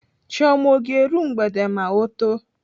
Chioma ọ ga-eru mgbede ma ọ too?